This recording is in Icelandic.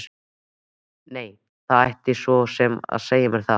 Nei, það mætti svo sem segja mér það.